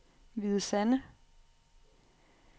Hvide Sande